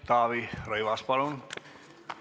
Taavi Rõivas, palun!